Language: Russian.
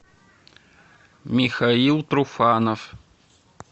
михаил труфанов